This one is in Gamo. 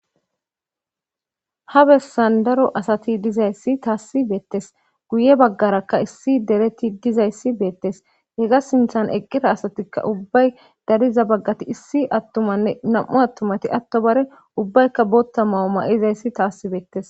Ha bessan daro asati dizayssi taassi beettes guye baggarakka issi dereti dizayssi beettes hega sinthan eqqira asatikka ubbay dariza baggati issi attumanne nam'u attumati atto bare ubbaykka bootta mawu ma'izayssi taassi beettes